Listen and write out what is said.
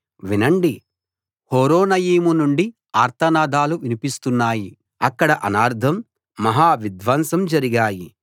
వినండి హొరొనయీము నుండి ఆర్తనాదాలు వినిపిస్తున్నాయి అక్కడ అనర్ధం మహా విధ్వంసం జరిగాయి